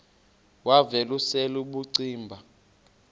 wav usel ubucima